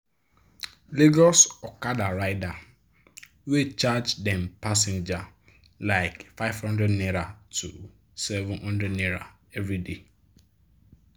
lagos okada rider dey charge dem passenger like n500 to n700 everyday.